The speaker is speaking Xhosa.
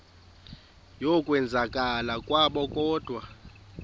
yokwenzakala kwabo kodwa